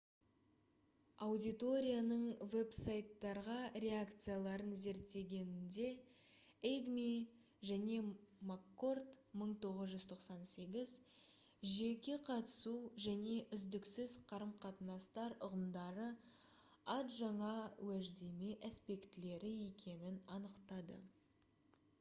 аудиторияның веб-сайттарға реакцияларын зерттегенінде эйгми және маккорд 1998 «жеке қатысу» және «үздіксіз қарым-қатынастар» ұғымдары ад жаңа уәждеме аспектілері екенін анықтады